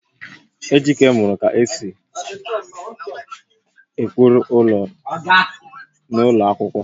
Ejike muru ka esi ese ụkpụrụ ụlọ n'ụlọ akwụkwọ